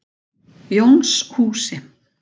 Jónshúsi